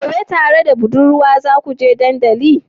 Gobe tare da budurwarka zakuje dandalin?